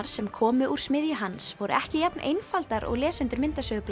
sem komu úr smiðju hans voru ekki jafn einfaldar og lesendur